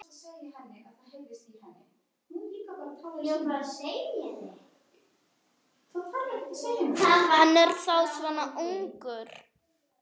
Hann er þá svona ungur.